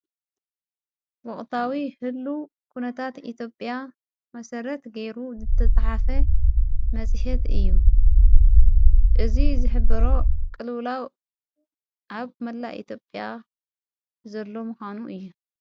ወቕታዊ ህሉ ዂነታት ኢትዮጲያ መሠረት ገይሩ ተጽሓፈ መጺሐት እዩ እዝ ዝሕብሮ ቕልላው ዓብ መላ ኢቴጴያ ዘሎ ምዃኑ እየ።